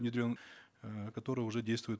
внедрен э который уже действует